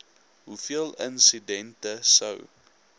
hoeveel insidente sou